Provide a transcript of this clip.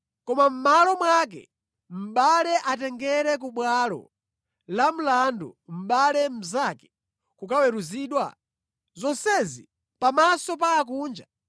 Koma mʼmalo mwake mʼbale atengera ku bwalo la mlandu mʼbale mnzake kukaweruzidwa. Zonsezi pamaso pa akunja!